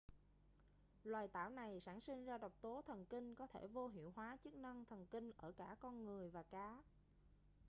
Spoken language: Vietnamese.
loài tảo này sản sinh ra độc tố thần kinh có thể vô hiệu hóa chức năng thần kinh ở cả con người và cá